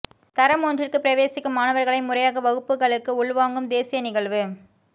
தரம் ஒன்றிற்கு பிரவேசிக்கும் மாணவர்களை முறையாக வகுப்புகளுக்கு உள் வாங்கும் தேசிய நிகழ்வு